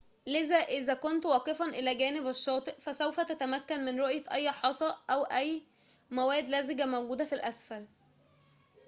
لذا إذا كنت واقفاً إلى جانب الشّاطئ فسوف تتّمكن من رؤية أي حصى أو موادٍ لزجةٍ موجودةٍ في الأسفل